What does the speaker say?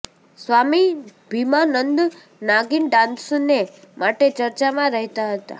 સ્વામી ભીમાનંદ નાગિન ડાન્સને માટે ચર્ચામાં રહેતા હતા